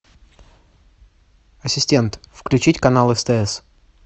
ассистент включить канал стс